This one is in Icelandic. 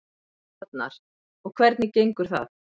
Arnar: Og hvernig gengur það?